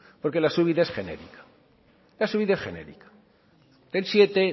porque la subida es genérica la subida es genérica el siete